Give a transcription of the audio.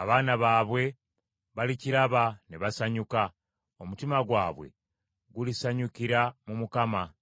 Abaana baabwe balikiraba ne basanyuka, omutima gwabwe gulisanyukira mu Mukama .